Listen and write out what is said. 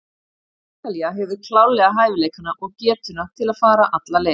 Ítalía hefur klárlega hæfileikana og getuna til að fara alla leið.